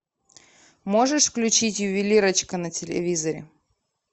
можешь включить ювелирочка на телевизоре